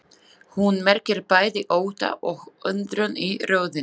Hún merkir bæði ótta og undrun í röddinni.